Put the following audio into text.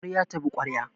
Kwarya tabi kwarya